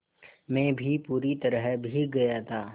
मैं भी पूरी तरह भीग गया था